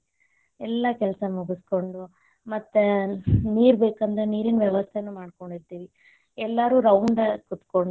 ಎಲ್ಲ ಕೆಲಸ ಮುಗಸ್ಕೊಂಡ್ ಮತ್ತ್ ನೀರ ಬೇಕ್ ಅಂದ್ರ ನೀರಿನ ವ್ಯವಸ್ತೆನು ಮಾಡ್ಕೊಂಡಿರ್ತೀವಿ, ಎಲ್ಲಾರು round ಕೂತ್ಕೊಂಡು.